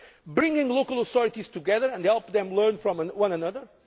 bringing local authorities together to help them learn from one another